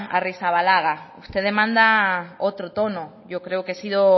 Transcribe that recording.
arrizabalaga usted demanda otro tono yo creo que he sido